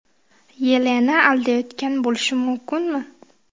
Yelena aldayotgan bo‘lishi mumkinmi?